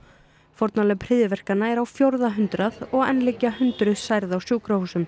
fórnarlömb hryðjuverkanna eru á fjórða hundrað og enn liggja hundruð særð á sjúkrahúsum